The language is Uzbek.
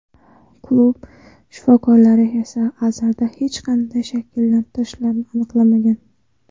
Klub shifokorlari esa Azarda hech qanday shikastlanishlarni aniqlamagan.